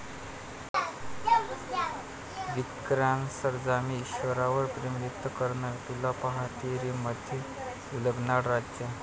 विक्रांत सरंजामे ईशावरचं प्रेम व्यक्त करणार? 'तुला पाहते रे'मध्ये उलगडणार राज